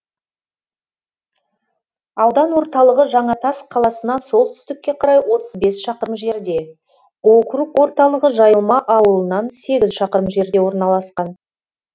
аудан орталығы жаңатас қаласынан солтүстікке қарай отыз бес шақырым жерде округ орталығы жайылма ауылынан сегіз шақырым жерде орналасқан